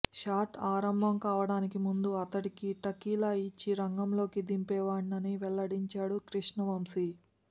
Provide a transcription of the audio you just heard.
shot ఆరంభం కావడానికి ముందు అతడికి టకీలా ఇచ్చి రంగంలోకి దింపేవాడినని వెల్లడించాడు కృష్ణవంశీ